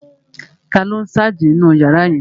Taló n sáàjì nínu yàrá yẹn?